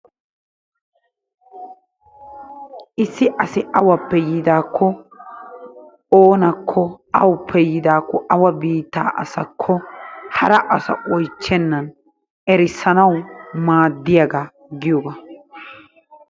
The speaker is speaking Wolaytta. Issi asi awappe yiidaakko oonakko awuppe yiidaakko awa biittaa asakko hara asa oyichchennan erissanawu maaddiyaaga giyogaa.